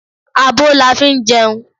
Abo la fi ń jẹun